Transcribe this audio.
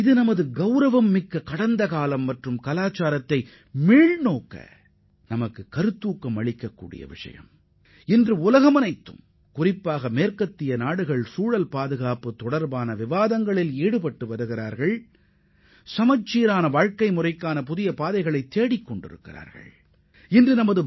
ஒட்டுமொத்த உலகமும் குறிப்பாக மேற்கத்திய நாடுகள் சுற்றுச்சூழல் பாதுகாப்பு பற்றி விவாதித்து சமச்சீரான வாழ்க்கை முறையை பின்பற்றுவதற்கான புதிய வழிகளை ஆராய்ந்து வரும் வேளையில் நமது கண்ணியமான கடந்த காலத்தையும் பண்டைக்கால பாரம்பரியங்களையும் அறிந்து கொள்ள நமக்கு ஊக்கமளிப்பதாக இது அமையும்